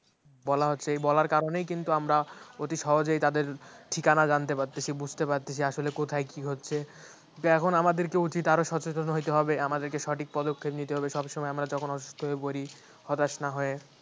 বলা হচ্ছে, এই বলার কারণেই কিন্তু আমরা অতি সহজে তাদের ঠিকানা জানতে পারতেছি বুঝতে পারতেছি আসলে কোথায় কি হচ্ছে কিন্তুেএখন আমাদেরকে উচিত আরো সচেতন হইতে হবে আমাদেরকে সঠিক পদক্ষেপ নিতে হবে সব সময় আমরা যখন অসুস্থ্য হয়ে পড়ি হতাশ না হয়ে